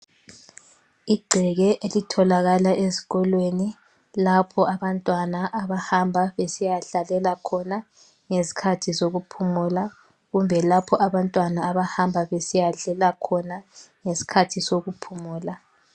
Igceke elitholakala ezikolweni lapho abantwana abahamba besiyadlalela khona ngezikhathi zokuphumula kumbe lapho abantwana abahamba besiyadlela khona ngesikhathi sokuphumula.